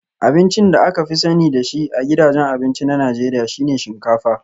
Abincin da aka fi sani da shi a gidajen abinci na Najeriya shi ne shinkafa